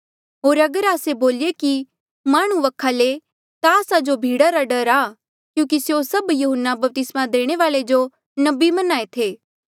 होर अगर आस्से बोलिए कि माह्णुं वखा ले ता आस्सा जो भीड़ा रा डर आ क्यूंकि स्यों सभ यहून्ना बपतिस्मा देणे वाल्ऐ जो नबी मन्हां ऐें थे